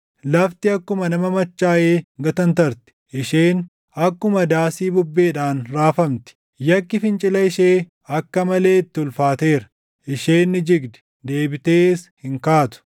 Lafti akkuma nama machaaʼee gatantarti; isheen akkuma daasii bubbeedhaan raafamti; yakki fincila ishee akka malee itti ulfaateera; isheen ni jigdi; deebitees hin kaatu.